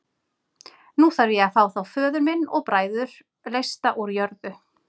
Nú þarf ég að fá þá föður minn og bræður leysta úr jörðu.